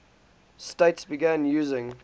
states began using